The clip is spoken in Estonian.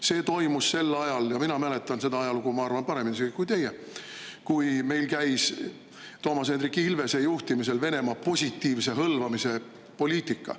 See toimus sel ajal – mina mäletan seda ajalugu, ma arvan, paremini kui teie –, kui meil käis Toomas Hendrik Ilvese juhtimisel Venemaa positiivse hõlvamise poliitika.